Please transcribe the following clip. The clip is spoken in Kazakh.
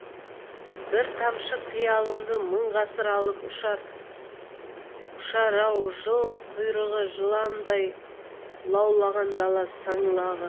бір тамшы қиялымды мың ғасыр алып ұшар ау жал құйрығы жалындай лаулаған дала саңлағы